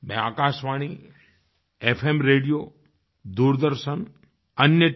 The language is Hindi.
मैं आकाशवाणीएफ़एम रेडियो दूरदर्शन अन्य tव